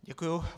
Děkuji.